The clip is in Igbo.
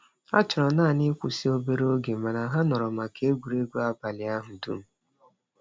Ha chọrọ naanị ịkwụsị obere oge mana ha nọrọ maka egwuregwu abalị ahụ dum.